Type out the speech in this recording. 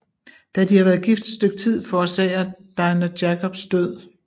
Da de har været gift et stykke tid forårsager Dina Jacobs død